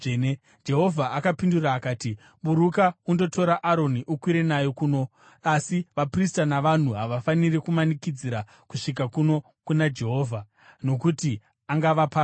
Jehovha akapindura akati, “Buruka undotora Aroni ukwire naye kuno. Asi vaprista navanhu havafaniri kumanikidzira kusvika kuno kuna Jehovha, nokuti angavaparadza.”